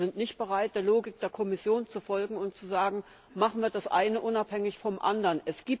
Wir sind nicht bereit, der Logik der Kommission zu folgen und zu sagen Machen wir das eine unabhängig vom anderen.